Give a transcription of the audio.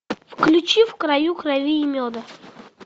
включи в краю крови и меда